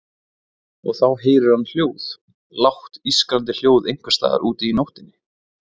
Og þá heyrir hann hljóð, lágt ískrandi hljóð einhvers staðar úti í nóttinni.